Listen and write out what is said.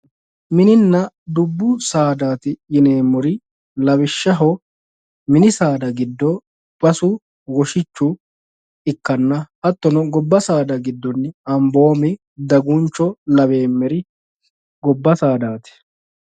Mininna dubbu saadati yineemmori lawishshaho mini saada giddo basu woshichu ikkanna hattono gobba saada giddo Amboomi, Daguncho laweemmeri gobba saadati.